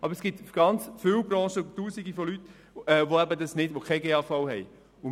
Aber es gibt sehr viele Branchen und Tausende von Leuten, die keinen GAV haben.